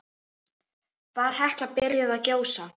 Var Hekla byrjuð að gjósa?